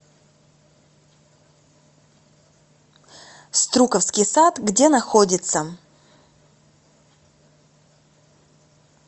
струковский сад где находится